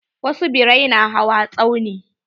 Wasu birai na hawa tsauni.